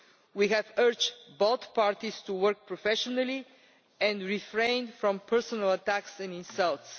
We have urged both parties to work professionally and refrain from personal attacks and insults.